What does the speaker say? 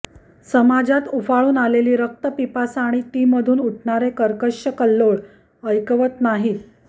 समाजात उफाळून आलेली रक्तपिपासा आणि तीमधून उठणारे कर्कश कल्लोळ ऐकवत नाहीत